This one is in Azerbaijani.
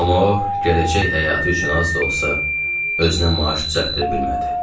Amma o, gələcək həyatı üçün az da olsa, özünə maaş düzəldə bilmədi.